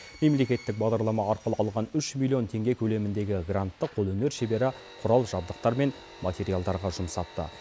мемлекеттік бағдарлама арқылы алған үш миллион теңге көлеміндегі грантты қолөнер шебері құрал жабдықтар мен материалдарға жұмсапты